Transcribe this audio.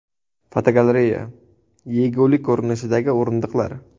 Fotogalereya: Yegulik ko‘rinishidagi o‘rindiqlar.